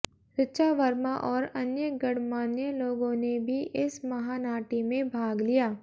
ऋचा वर्मा और अन्य गणमान्य लोगों ने भी इस महानाटी में भाग लिया